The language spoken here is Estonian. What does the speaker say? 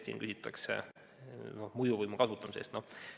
Siin küsitakse mõjuvõimu kasutamise kohta.